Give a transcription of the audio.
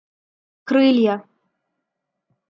крылья